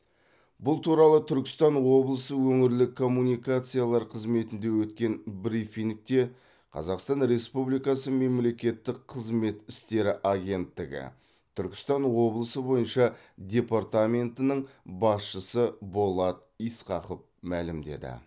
бұл туралы түркістан облысы өңірлік коммуникациялар қызметінде өткен брифингте қазақстан республикасы мемлекеттік қызмет істері агенттігі түркістан облысы бойынша департаментінің басшысы болат исқақов мәлімдеді